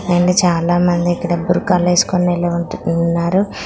And చాలామంది ఇక్కడ బుర్కాలు వేసుకొని ఉన్నారు.